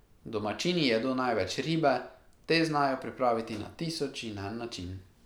Domačini jedo največ ribe, te znajo pripraviti na tisoč in en način.